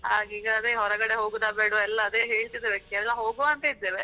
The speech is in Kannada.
ಈಗ ಅದೆ ಹೊರಗಡೆ ಹೋಗುದ ಬೇಡ್ವಾ ಎಲ್ಲ ಅದೆ ಹೇಳ್ತಿದ್ದಾರೆ Kerala ಹೋಗುವ ಅಂತ ಇದ್ದೇವೆ.